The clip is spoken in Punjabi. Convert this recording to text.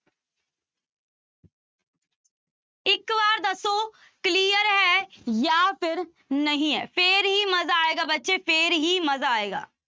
ਇੱਕ ਵਾਰ ਦੱਸੋ clear ਹੈ ਜਾਂ ਫਿਰ ਨਹੀਂ ਹੈ ਫਿਰ ਹੀ ਮਜ਼ਾ ਆਏਗਾ ਬੱਚੇ ਫਿਰ ਹੀ ਮਜ਼ਾ ਆਏਗਾ।